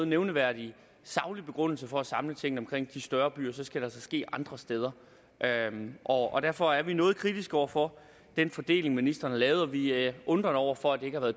nævneværdig saglig begrundelse for at samle tingene omkring de større byer skal det altså ske andre steder og og derfor er vi noget kritiske over for den fordeling ministeren har lavet og vi er undrende over for at det ikke har